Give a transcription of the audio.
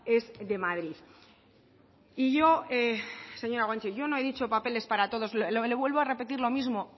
es de madrid y yo señora guanche yo no he dicho papeles para todos le vuelvo a repetir lo mismo